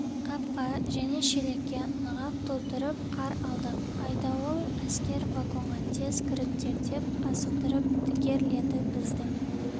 қапқа және шелекке нығап толтырып қар алдық айдауыл әскер вагонға тез кіріңдер деп асықтырып дігерледі біздің